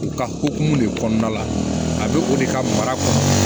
U ka hokumu de kɔnɔna la a bɛ o de ka mara ka